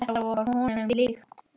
Þetta var honum líkt.